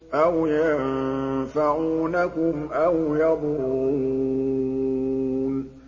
أَوْ يَنفَعُونَكُمْ أَوْ يَضُرُّونَ